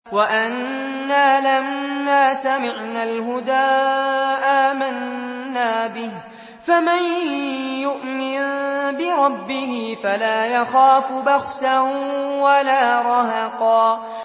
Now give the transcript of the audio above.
وَأَنَّا لَمَّا سَمِعْنَا الْهُدَىٰ آمَنَّا بِهِ ۖ فَمَن يُؤْمِن بِرَبِّهِ فَلَا يَخَافُ بَخْسًا وَلَا رَهَقًا